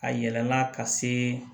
A yɛlɛla ka se